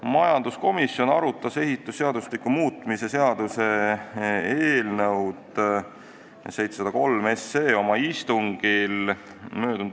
Majanduskomisjon arutas ehitusseadustiku muutmise seaduse eelnõu 703 oma istungil m.